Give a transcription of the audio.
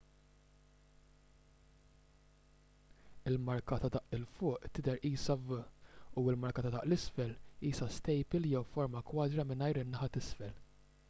il-marka ta' daqq l fuq tidher qisha v u l-marka ta' daqq l isfel qisha stejpil jew forma kwadra mingħajr in-naħa t'isfel